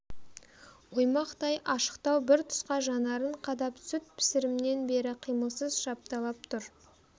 оймақтай ашықтау бір тұсқа жанарын қадап сүт пісірімнен бері қимылсыз шапталып тұр